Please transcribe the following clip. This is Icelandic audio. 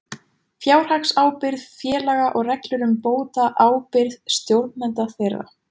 Fjárhagsábyrgð félaga og reglur um bótaábyrgð stjórnenda þeirra.